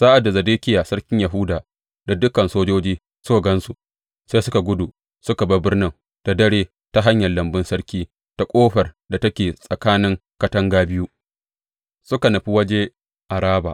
Sa’ad da Zedekiya sarkin Yahuda da dukan sojoji suka gan su, sai suka gudu; suka bar birnin da dare ta hanyar lambun sarki, ta ƙofar da take tsakanin katanga biyu, suka nufi waje Araba.